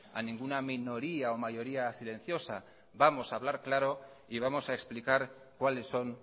a ninguna minoría o mayoría silenciosa vamos a hablar claro y vamos a explicar cuáles son